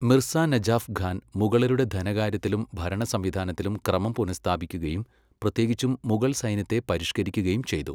മിർസ നജാഫ് ഖാൻ മുഗളരുടെ ധനകാര്യത്തിലും ഭരണസംവിധാനത്തിലും ക്രമം പുനഃസ്ഥാപിക്കുകയും, പ്രത്യേകിച്ചും മുഗൾസൈന്യത്തെ പരിഷ്ക്കരിക്കുകയും ചെയ്തു.